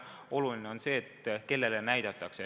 Oluline on see, kellele näidatakse.